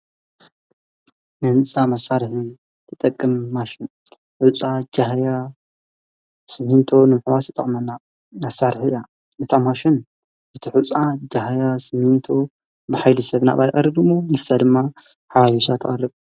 ንንፃ መሣርሕ ተጠቅም ማሽን ዕፃ ጀሕያ ስምንቶ ንምኅዋስ ተጠቕመና ኣሣርሕ እያ ነታማሽን እቲሑፃ ጀህያ ስምንቶ ብሂሊ ሰብ ናባልኣርድሙ ንሳ ድማ ሓዋሪሻ ተቐርብ።